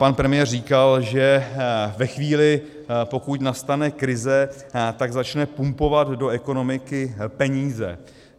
Pan premiér říkal, že ve chvíli, pokud nastane krize, tak začne pumpovat do ekonomiky peníze.